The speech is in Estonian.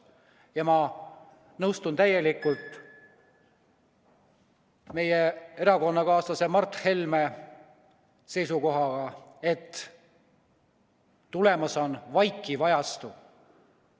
Ja ma nõustun täielikult erakonnakaaslase Mart Helme seisukohaga, et tulemas on vaikiv ajastu.